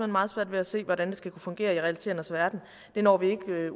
meget svært at se hvordan det skal kunne fungere i realiteternes verden det når vi ikke at